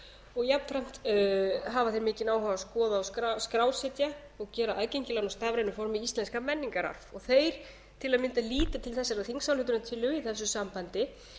og jafnframt hafa þeir mikinn áhuga á því að skoða og skrásetja og gera aðgengilega með stafrænu formi íslenskan menningararf þeir til að mynda líta til þessarar þingsályktunartillögu í þessu sambandi